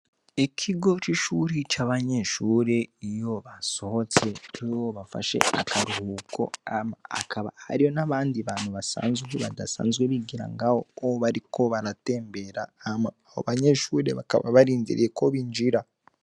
Ikigo c'ishure c'abanyeshure iyo basohotse canke iyo bafashe akaruhuko hama hakaba hariho n'abantu basanzwe badasanzwe bigira ngaho'o bariko baratembera. Hama abo banyeshure bakaba barindiriye ko binjira.